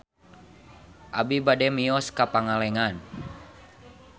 Abi bade mios ka Pangalengan